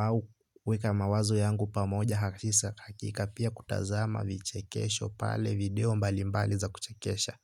au weka mawazo yangu pamoja hakika pia kutazama vichekesho pale video mbali mbali za kuchekesha.